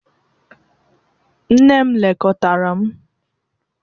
Nne m lekọtara m.